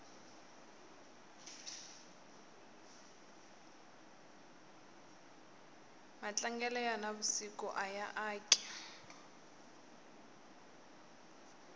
matlangelo ya na vusiku aya aki